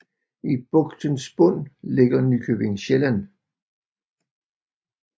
I bugtens bund ligger Nykøbing Sjælland